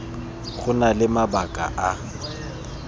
go na le mabaka a